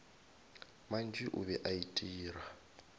mantši o be a itira